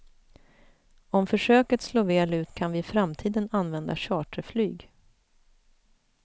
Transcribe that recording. Om försöket slår väl ut kan vi i framtiden använda charterflyg.